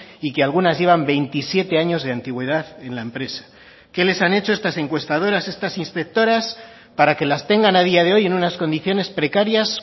y que algunas llevan veintisiete años de antigüedad en la empresa qué les han hecho estas encuestadoras estas inspectoras para que las tengan a día de hoy en unas condiciones precarias